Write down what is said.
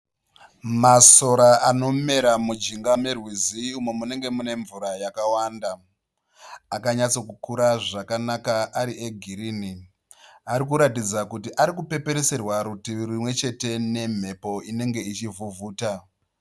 Masora anomera mujinga merwizi umo munenge munenge mune mvura yakawanda. Akanyatsokukura zvakanaka ari egirini. Arikuratidza kuti ari kupepereserwa kurutivi rumwe chete nemhepo inenge ichivhuvhuta.